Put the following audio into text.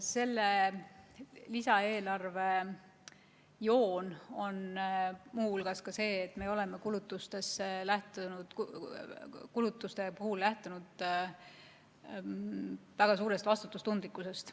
Selle lisaeelarve joon on muu hulgas see, et oleme kulutuste puhul lähtunud väga suurest vastutustundlikkusest.